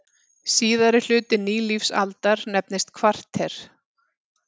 Síðari hluti nýlífsaldar nefnist kvarter.